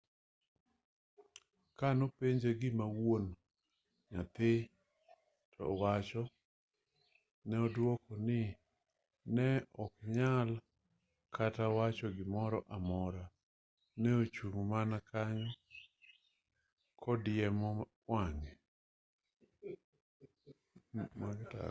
ka ne openje gima wuon nyathi to wacho ne odwoko ni ne ok onyal kata wacho gimoro amora ne ochung' mana kanyo kodiemo wang'e